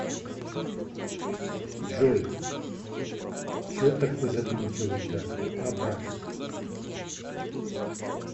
джой че такой задумчивый то а брат